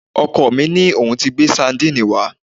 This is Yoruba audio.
Ọkọ mi sọ pé òun ti gbé sadínìnnì wá